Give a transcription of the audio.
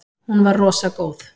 Hún var rosa góð.